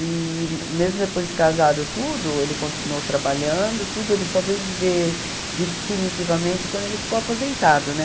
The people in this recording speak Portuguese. E mesmo depois de casado, tudo, ele continuou trabalhando, tudo, ele só veio viver definitivamente quando ele ficou aposentado, né?